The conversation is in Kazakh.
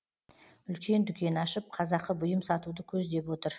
үлкен дүкен ашып қазақы бұйым сатуды көздеп отыр